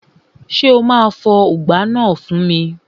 Ṣé o máa bá mi fọ ùgbá náà fún mi?